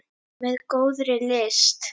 Með góðri lyst.